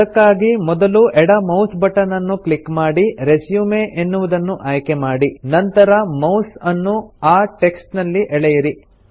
ಅದಕ್ಕಾಗಿ ಮೊದಲು ಎಡ ಮೌಸ್ ಬಟನ್ ಅನ್ನು ಕ್ಲಿಕ್ ಮಾಡಿ ರೆಸ್ಯೂಮ್ ಎನ್ನುವುದನ್ನು ಆಯ್ಕೆ ಮಾಡಿ ನಂತರ ಮೌಸ್ ಅನ್ನು ಆ ಟೆಕ್ಸ್ಟ್ ನಲ್ಲಿ ಎಳೆಯಿರಿ